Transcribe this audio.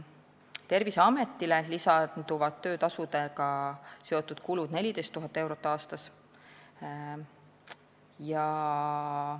Terviseametile lisanduvad töötasudega seotud kulud 14 000 eurot aastas.